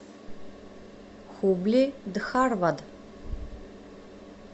хубли дхарвад